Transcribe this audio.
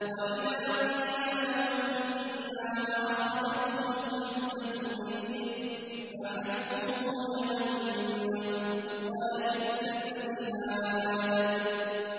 وَإِذَا قِيلَ لَهُ اتَّقِ اللَّهَ أَخَذَتْهُ الْعِزَّةُ بِالْإِثْمِ ۚ فَحَسْبُهُ جَهَنَّمُ ۚ وَلَبِئْسَ الْمِهَادُ